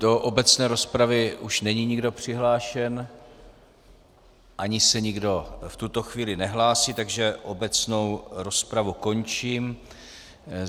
Do obecné rozpravy už není nikdo přihlášen ani se nikdo v tuto chvíli nehlásí, takže obecnou rozpravu končím.